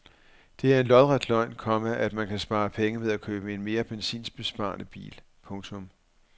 Det er en lodret løgn, komma at man kan spare penge ved at købe en mere benzinbesparende bil. punktum